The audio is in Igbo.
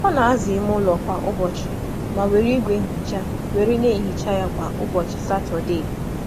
Ọ na-asa ala ime ụlọ obibi kwa ụbọchị, ma na-eji igwe nsa ya n’ụbọchị Satọdee.